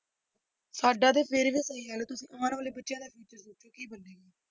ਸਾਡਾ ਤੇ ਫਿਰ ਵੀ ਤੁਸੀਂ ਆਉਣ ਵਾਲੇ ਬੱਚਿਆਂ ਦਾ future ਦੱਸੋ ਕੀ ਬਣੇਗਾ।